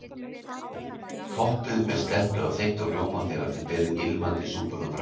Toppið með slettu af þeyttum rjóma þegar þið berið ilmandi súpuna fram.